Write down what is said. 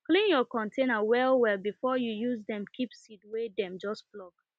clean your container well well before you use dem keep seed wey dem just pluck